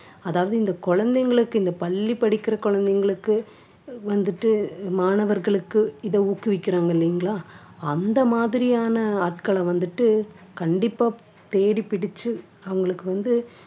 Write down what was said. அதாவது இந்த குழந்தைங்களுக்கு இந்த பள்ளி படிக்கிற குழந்தைங்களுக்கு வந்துட்டு மாணவர்களுக்கு இதை ஊக்குவிக்கிறாங்க இல்லைங்களா அந்த மாதிரியான ஆட்களை வந்துட்டு கண்டிப்பா தேடிப்பிடிச்சு அவங்களுக்கு வந்து